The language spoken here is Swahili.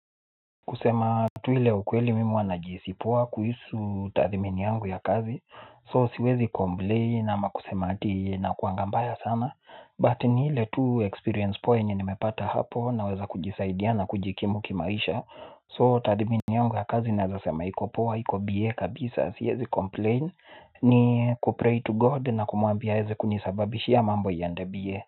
Kusema tu ile ukweli mimi huwa najihisi poa kuhusu tathmini yangu ya kazi So siwezi komblei ama kusema ati ikuanga mbaya sana But ni ile tu experience poa enye nimepata hapo naweza kujisaidia na kujikimu kimaisha So tathmini yangu ya kazi nawezasema iko poa iko biye kabisa siwezi complain. Ni kupray to god na kumuambia heze kunisababishia mambo ya ndabie.